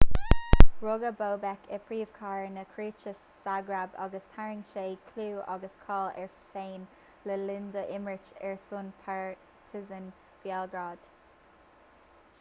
rugadh bobek i bpríomhchathair na cróite ságrab agus tharraing sé clú agus cáil air féin le linn dó imirt ar son partizan béalgrád